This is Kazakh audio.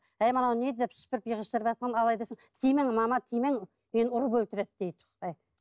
әй мынау не деп тимең мама тимең мені ұрып өлтіреді дейді баяғы